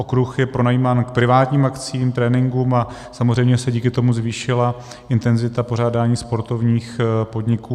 Okruh je pronajímán k privátním akcím, tréninkům a samozřejmě se díky tomu zvýšila intenzita pořádání sportovních podniků.